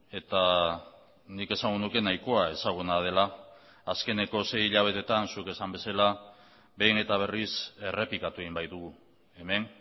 eta nik esango nuke nahikoa ezaguna dela azkeneko sei hilabeteetan zuk esan bezala behin eta berriz errepikatu egin baitugu hemen